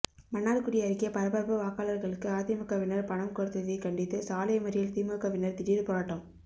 மன்னார்குடி அருகே பரபரப்பு வாக்காளர்களுக்கு அதிமுகவினர் பணம் கொடுத்ததை கண்டித்து சாலை மறியல் திமுகவினர் திடீர் போராட்டம்